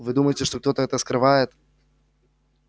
вы думаете что кто-то это скрывает